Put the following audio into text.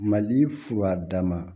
Mali furadama